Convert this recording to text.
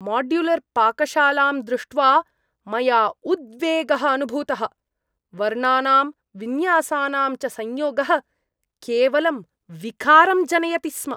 माड्युलर्पाकशालां दृष्ट्वा मया उद्वेगः अनुभूतः। वर्णानां विन्यासानां च संयोगः केवलं विकारं जनयति स्म।